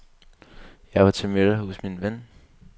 Jeg var til middag hos min ven.